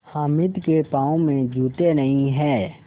हामिद के पाँव में जूते नहीं हैं